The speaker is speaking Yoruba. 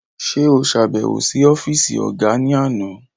Ṣe o ṣabẹwo si ọfiisi ọga ni àna?